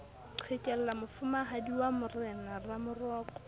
qhekella mofumahadi wa morena ramoroko